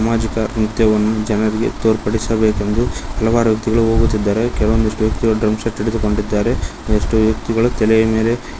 ಮಜಿಕರ್ ನೃತ್ಯವನ್ನು ಜನರಿಗೆ ತೋರ್ಪಡಿಸಬೇಕೆಂದು ಹಲವಾರು ವ್ಯಕ್ತಿಗಳು ಹೋಗುತ್ತಿದ್ದಾರೆ ಕೆಲವೊಂದಿಷ್ಟು ವ್ಯಕ್ತಿಗಳು ಡ್ರಮ್ ಸೆಟ್ ಹಿಡಿದುಕೊಂಡಿದಾರೆ ಇಷ್ಟು ವ್ಯಕ್ತಿಗಳು ತಲೆಯ ಮೇಲೆ --